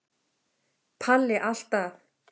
Palli alltaf.